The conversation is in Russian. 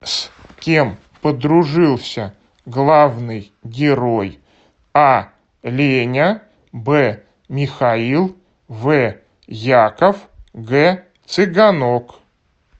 с кем подружился главный герой а леня б михаил в яков г цыганок